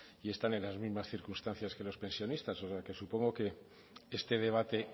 y están en las mismas circunstancias que los pensionistas o sea que supongo que este debate